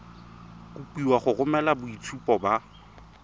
kopiwa go romela boitshupo ba